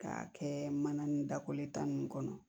K'a kɛ mana ni dako ye tan nin kɔnɔ